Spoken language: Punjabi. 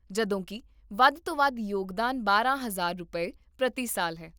ਜਦੋਂਕਿ , ਵੱਧ ਤੋਂ ਵੱਧ ਯੋਗਦਾਨ ਬਾਰਾਂ ਹਜ਼ਾਰ ਰੁਪਏ, ਪ੍ਰਤੀ ਸਾਲ ਹੈ